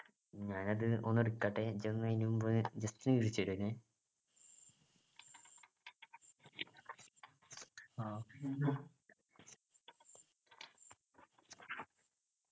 ഞാനത് ഒന്ന് എടുക്കട്ടെ എനിക്ക് ഒന്ന് അതിനുമുമ്പ് just എന്നെ